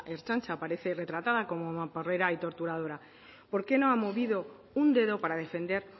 ertzaintza aparece retratada como mamporrera y torturadora por qué no ha movido un dedo para defender